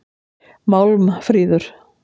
Málmfríður